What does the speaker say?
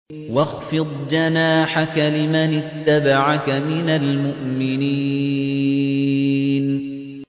وَاخْفِضْ جَنَاحَكَ لِمَنِ اتَّبَعَكَ مِنَ الْمُؤْمِنِينَ